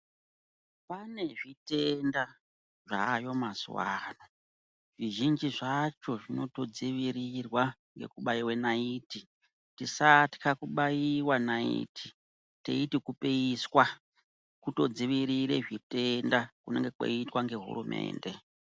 Pane zvitenda zvayo mazuva ano zvizhinji zvacho zvinotodzirirwa ngkubaive naiti. Tisatxa kubaiva naiti teiti kupiswa kutodzirire zvitenda kunenge kweiitwa ngehurumende.